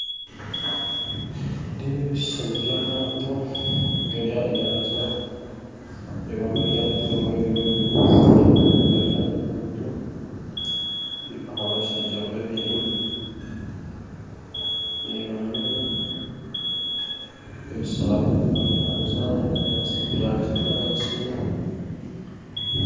Nindeeba ebishushani by'amato gari aha nyanja nindeebamu eryato erimwe riri omu maizi agandi gari aha nkungu ndeebaho abashaija babiri ndeebamu ebishaaru omu nyanja ebinyaatsi bya kinyaatsi.